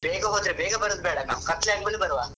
ಬೇಗ ಹೋದ್ರೆ ಬೇಗ ಬರುದು ಬೇಡಾ ನಾವ್ ಕತ್ಲೇ ಅದ್ಮೇಲೆ ಬರುವಾ.